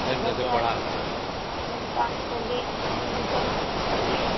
ସବୁ ଟାସ୍କ କରିବେ ଟ୍ୟୁସନ କରିବେ